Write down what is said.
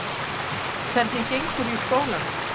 Hvernig gengur í skólanum?